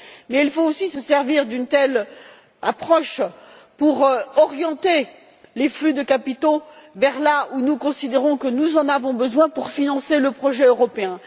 Mais il faut aussi se servir d'une telle approche pour orienter les flux de capitaux là où nous considérons que nous en avons besoin pour financer le projet européen.